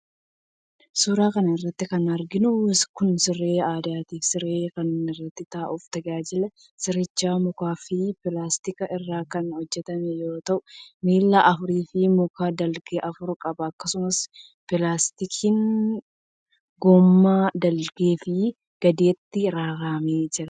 Suura kana irratti kan arginu kun, siree aadaati. Sireen kun, irra taa'uf tajaajila. Sirichi mukaa fi pilaastika irraa kan hojjatame yoo ta'u, miila afurii fi muka dalgee afur qaba. Akkasumas, pilaastikni gommaa dalgee fi gadeetti raramee jira.